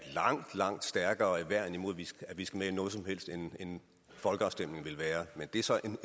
langt langt stærkere værn imod at vi skal med i noget som helst end en folkeafstemning vil være men det er så en